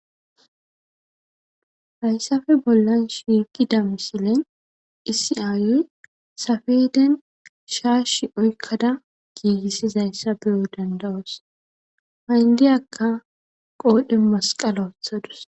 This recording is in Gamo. Haysafe bollan shiiqida misilen issi ayiya safeden shaashi oykkada giigissizayssa beyo dandawos hayndiyakka qoodhe masqala wothadus